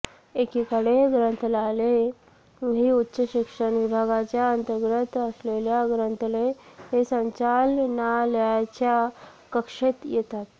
एकीकडे ग्रंथालये ही उच्च शिक्षण विभागाच्या अंतर्गत असलेल्या ग्रंथालय संचालनालयाच्या कक्षेत येतात